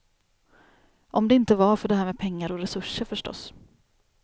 Om det inte var för det här med pengar och resurser förstås.